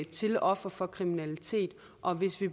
til ofre for kriminalitet og hvis vi